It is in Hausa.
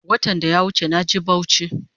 Watan daya wuche naje bauchi